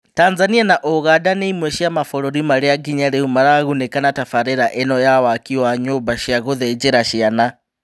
Tanzania na ũganda nĩ imwe cia mabũrũri marĩa nginya rĩu maragunĩka na tafarĩra ĩno ya waki wa nyũmba cia gũthĩnjĩra ciana .